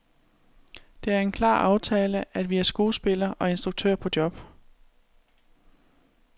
Det er en klar aftale, at vi er skuespiller og instruktør på job.